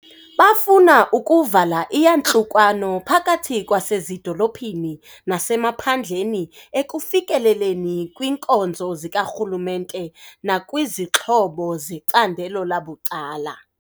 Bafuna ukuvala iyantlukwano phakathi kwasezido lophini nasemaphandleni ekufikeleleni kwiinkonzo zikarhulumente nakwizixhobo zecandelo labucala.